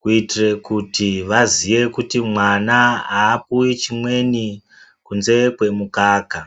kuitire kuti vaziye kuti mwana aapuwi chimweni kunze kwemukaka.